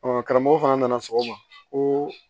karamɔgɔ fana nana sɔgɔma ko